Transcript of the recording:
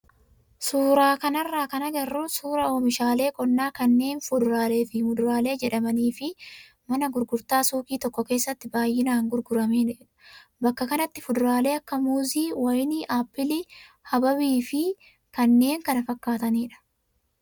Suuraa kanarraa kan agarru suuraa oomishaalee qonnaa kanneen fuduraalee fi muduraalee jedhamanii fi mana gurgurtaa suuqii tokko keessatti baay'inaan gurguramanidha. Bakka kanatti fuduraalee akka muuzii, wayinii, appilii , habaabii fi kanneen kana fakkaatanidha.